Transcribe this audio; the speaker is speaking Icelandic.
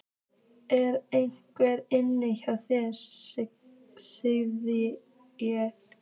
ER EINHVER INNI HJÁ ÞÉR, SAGÐI ÉG?